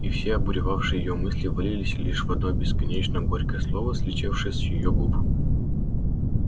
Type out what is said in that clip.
и все обуревавшие её мысли вылились лишь в одно бесконечно горькое слово слетевшее с её губ